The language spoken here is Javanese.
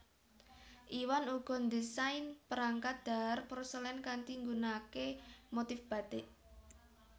Iwan uga ndésain perangkat dhahar porselen kanthi nggunaaké motif batik